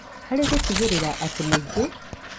Harĩ gũtigĩrĩra atĩ mũingĩ